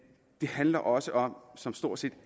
det handler også om som stort set